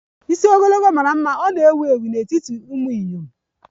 bụ ewu ewu n'etiti ndị inyom